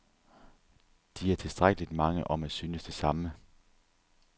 De er tilstrækkeligt mange om at synes det samme.